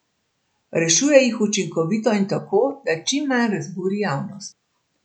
Rešuje jih učinkovito in tako, da čim manj razburi javnost.